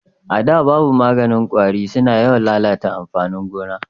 A da da babu maganin kwari su na yawan lalata amfanin gona